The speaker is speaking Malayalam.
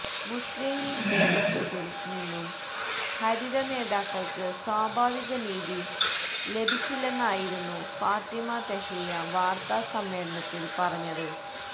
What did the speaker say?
മുസ്ലിം ലീഗ് നേതൃത്വത്തിൽ നിന്നും ഹരിത നേതാക്കൾക്ക് സ്വാഭാവിക നീതി ലഭിച്ചില്ലെന്നായിരുന്നു ഫാത്തിമ തെഹ്ലിയ വാർത്താ സമ്മേളനത്തിൽ പറഞ്ഞത്